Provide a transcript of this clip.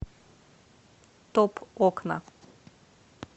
топ окна